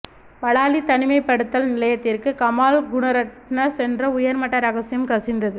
பலாலி தனிமைப்படுத்தல் நிலையத்திற்கு கமால் குணரட்ன சென்ற உயர்மட்ட இரகசியம் கசிந்தது